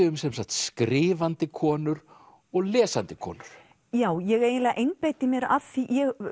um skrifandi konur og lesandi konur já ég eiginlega einbeiti mér að því